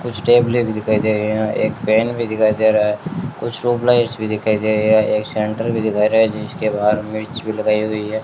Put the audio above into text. कुछ टैबले भी दिखाई दे रही है एक पैन भी दिखाई दे रहा है कुछ ट्यूबलाइटस भी दिखाई दे रही है एक सेंटर भी दिखाई रहा है जीसके बाहर मिर्च भी लगाई हुई है।